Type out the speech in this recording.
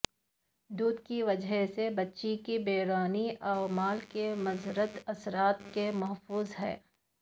دودھ کی وجہ سے بچے کی بیرونی عوامل کے مضر اثرات سے محفوظ ہے